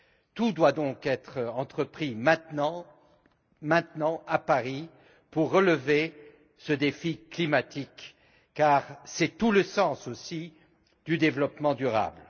Tout doit donc être entrepris, maintenant à Paris, pour relever ce défi climatique, car c'est tout le sens aussi du développement durable.